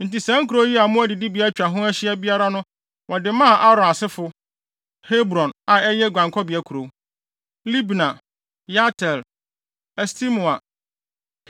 Enti saa nkurow yi a mmoa adidibea atwa biara ho ahyia na wɔde maa Aaron asefo: Hebron, a ɛyɛ guankɔbea kurow, Libna, Yatir, Estemoa,